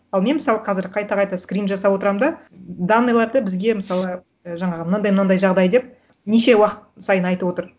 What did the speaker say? ал мен мысалы қазір қайта қайта скрин жасап отырамын да данныйларды бізге мысалы ы жаңағы мынандай мынандай жағдай деп неше уақыт сайын айтып отыр